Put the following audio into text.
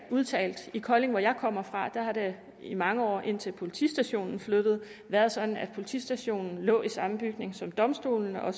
udtalt i kolding hvor jeg kommer fra har det i mange år indtil politistationen flyttede været sådan at politistationen lå i samme bygning som domstolene og